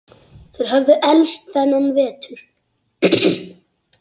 Þeir höfðu elst þennan vetur.